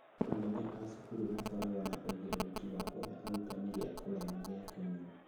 Anene a cukuru makoragwo na ũigĩrĩrĩki wa kũhe arutani gĩa kũria na gĩa kũnyua